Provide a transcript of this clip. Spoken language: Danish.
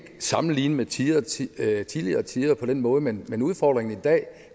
sammenligne med tidligere tider tidligere tider på den måde men udfordringen i dag